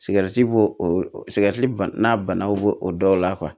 Sigɛritib'o sigɛriti n'a banaw b'o o dɔw la